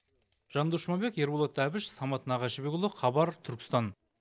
жандос жұмабек ерболат әбіш самат нағашыбекұлы хабар түркістан